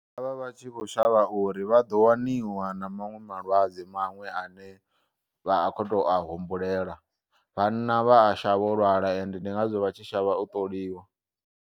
Vha vha vha tshi kho u shavha uri vhaḓo waniwa na maṅwe malwadze maṅwe ane vha kho to a humbulela vhanna vha a shavha u lwala ende ndi ngazwo vha tshi shavha u ṱoliwa.